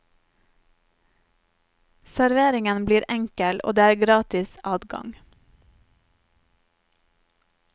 Serveringen blir enkel, og det er gratis adgang.